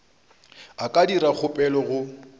a ka dira kgopelo go